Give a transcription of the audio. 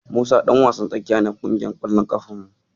Musa ɗan wasan tsakiya ne a ƙungiyar ƙwallon ƙafar mu.